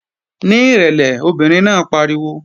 Ní ìrẹ̀lẹ̀! Obìnrin náà pariwo